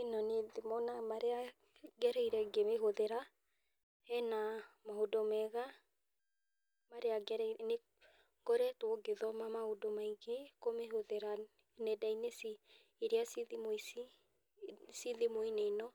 Ĩno nĩ thimũ na marĩa ngereire ngĩmĩhũthĩra, hena maũndũ mega marĩa ngereire, nĩ ngoretwo ngĩthoma maũndũ maingĩ kũmĩhũthĩra nyenda-inĩ irĩa ci thimũ-inĩ ĩno.